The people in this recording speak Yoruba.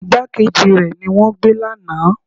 Ìgbákejì rẹ ni wọ́n gbé lánàá.